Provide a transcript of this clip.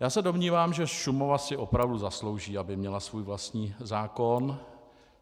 Já se domnívám, že Šumava si opravdu zaslouží, aby měla svůj vlastní zákon.